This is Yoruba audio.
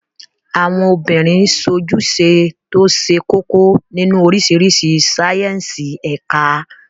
Àwọn obìnrin sojúse tó ṣe kókó nínú oríṣiríṣi sáíyẹ́nsì ẹ̀ka